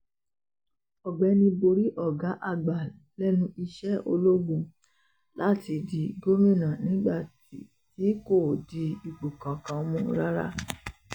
ọ̀gbẹ́ni borí ọ̀gá àgbà lẹ́nu iṣẹ́ ológun láti di gómìnà nígbà tí kò di ipò kankan mú rárá